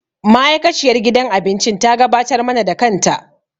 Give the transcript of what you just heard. Ma'aikaciyar gidan abincin ta gabatar mana da kanta.